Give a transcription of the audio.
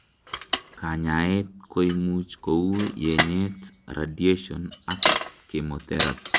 kanyaet koimuch kou yenyet, radiation ak chemotherapy